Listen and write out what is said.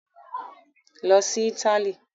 Lọ sí Italy!